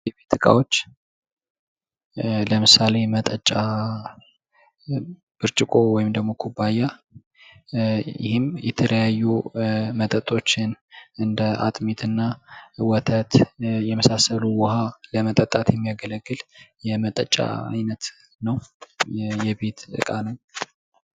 የቤት እቃዎች ለምሳሌ የመጠጫ ብርጭቆ ወይም ደግሞ ኩባንያ የተለያዩ መጠጦችን እንደ አጥሚት እና ወተት የመሳሰሉ ውሃን ለመጠጣት የሚያገለግል የመጠጫ ዓይነት ነው፤ የቤት እቃ ነው።